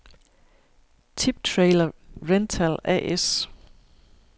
Tip Trailer Rental A/S